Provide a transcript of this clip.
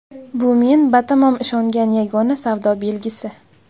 Bu men batamom ishongan yagona savdo belgisi.